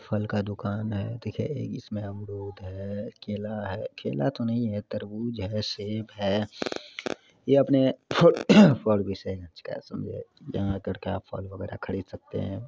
फल का दुकान है देखिए एक इसमें अमरूद है केला है केला तोह नहीं है तरबूज है सेब है फल वगेरा खरीद सकते हैं।